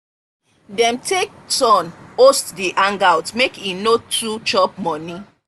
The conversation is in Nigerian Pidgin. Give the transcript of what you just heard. dem take turn host the hangout make e no too chop money.